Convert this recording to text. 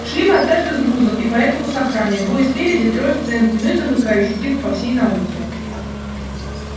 шли мы однажды с грузом и поэтому с охраной двое спереди трое в центре ну и замыкающий типа по всей науке